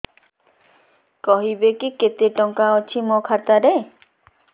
କହିବେକି କେତେ ଟଙ୍କା ଅଛି ମୋ ଖାତା ରେ